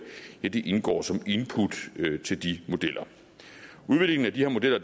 indgår som input til de modeller udviklingen af de her modeller